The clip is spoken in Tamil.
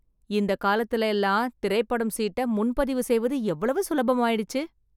இந்த காலத்துல எல்லாம், திரைப்படம் சீட்ட முன்பதிவு செய்வது எவ்வளவு சுலபமாயிடுச்சு.